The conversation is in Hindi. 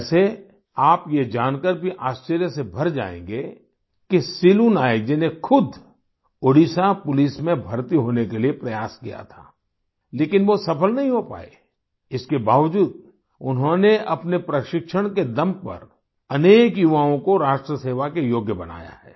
वैसे आप ये जानकर भी आश्चर्य से भर जाएंगे कि सिलू नायक जी ने खुद ओडिशा पुलिस में भर्ती होने के लिए प्रयास किया था लेकिन वो सफल नहीं हो पाए इसके बावजूद उन्होंने अपने प्रशिक्षण के दम पर अनेक युवाओं को राष्ट्र सेवा के योग्य बनाया है